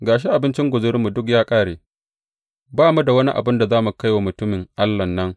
Ga shi abinci guzurinmu duk ya ƙare, ba mu da wani abin da za mu kai wa mutumin Allahn nan.